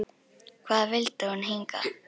Hvað vildi hún hingað?